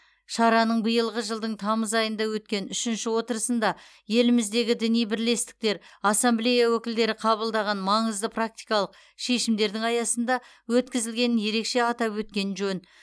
шараның биылғы жылдың тамыз айында өткен үшінші отырысында еліміздегі діни бірлестіктер ассамблея өкілдері қабылдаған маңызды практикалық шешімдердің аясында өткізілгенін ерекше атап өткен жөн